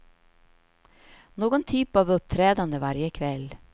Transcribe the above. Någon typ av uppträdande varje kväll.